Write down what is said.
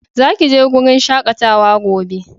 Za ki je wurin shakatawa gobe!